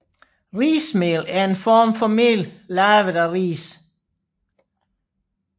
Rismel er en form for mel lavet af ris